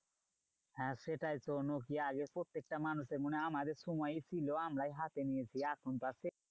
হ্যাঁ সেটাই তো, নোকিয়া আগে প্রত্যেকটা মানুষের মনে আমাদের সময় ছিল। আমরাই হাতে নিয়েছি এখনকার সেই